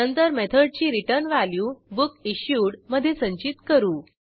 नंतर मेथडची return value बुकिश्यूड मधे संचित करू